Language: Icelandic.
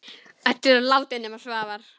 Öll eru látin nema Svavar.